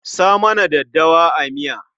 Sa mana daddawa a miya.